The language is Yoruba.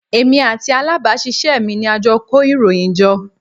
Èmi àti alábàásisẹ́ mi ni a jọ kó ìròyìn jọ.